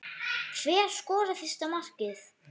Hver skorar fyrsta markið?